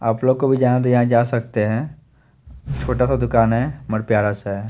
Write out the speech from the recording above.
आप लोग को भी जाना है तो यहां जा सकते है। छोटा सा दुकान है बट प्यारा सा है।